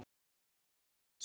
Ari fer til Þjóðleikhússins